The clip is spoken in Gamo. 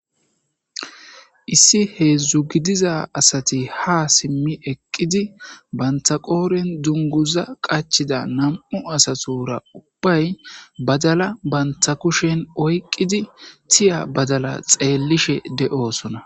issi hedzdzu gidiza asati ha simmi eqqidi banta qooren dunguza qachida nam7u asatura ubbay badala banta kushen oyqqidi tiya badala xeellishe de7oosona